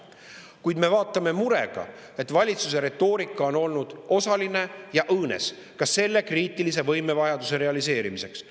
Kuid me vaatame murega, et valitsuse retoorika on olnud osaline ja õõnes ka selle kriitilise võimevajaduse realiseerimiseks.